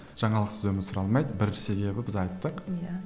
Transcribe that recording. жаңалықсыз өмір сүре алмайды бірінші себебі біз айттық иә